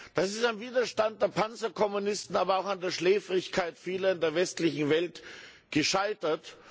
Das ist am Widerstand der Panzerkommunisten, aber auch an der Schläfrigkeit vieler in der westlichen Welt gescheitert.